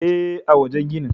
E, a wajen gini.